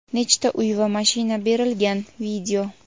nechta uy va mashina berilgan.